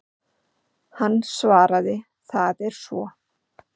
Hann svaraði, það er svo.